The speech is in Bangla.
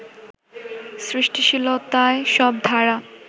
সৃষ্টিশীলতায় সব ধারা